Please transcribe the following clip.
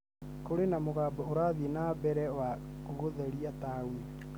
Kũrĩ na mũbango ũrathiĩ nambere wa gũtheria taoni